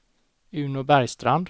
Uno Bergstrand